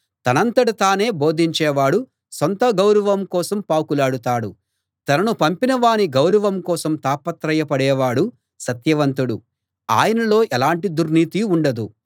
తనంతట తానే బోధించేవాడు సొంత గౌరవం కోసం పాకులాడతాడు తనను పంపిన వాని గౌరవం కోసం తాపత్రయ పడేవాడు సత్యవంతుడు ఆయనలో ఎలాంటి దుర్నీతీ ఉండదు